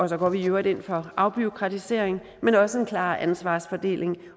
så går vi i øvrigt ind for afbureaukratisering men også en klar ansvarsfordeling